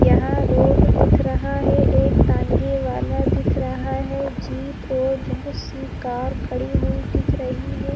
यहाँ रोड दिख रहा हे एक ताँगे वाला दिख रहा हे जीप और बहुत सी कार खड़ी हुई दिख रही हे ।